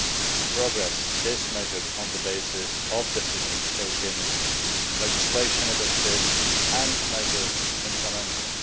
and progress is measured on the basis of decisions taken, legislation adopted and measures implemented.